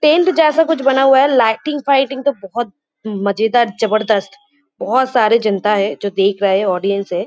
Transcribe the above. Tent जैसा कुछ बना हुआ है। लाइटिंग व्हाइटिंग तो बहोत मजेदार जबरदस्त। बहोत सारे जनता है जो देख रहा है ऑडियंस है।